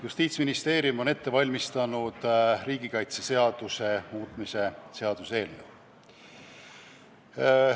Justiitsministeerium on ette valmistanud uue riigikaitseseaduse eelnõu.